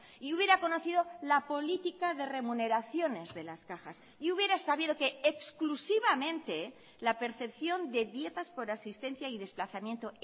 y hubiera conocido la política de remuneraciones de las cajas y hubiera sabido que exclusivamente la percepción de dietas por asistencia y desplazamiento